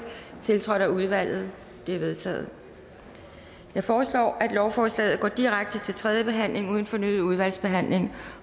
tiltrådt af udvalget de er vedtaget jeg foreslår at lovforslaget går direkte til tredje behandling uden fornyet udvalgsbehandling